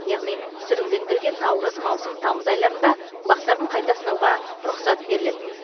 яғни сүрінгендерге наурыз маусым тамыз айларында бақтарын қайта сынауға рұқсат беріледі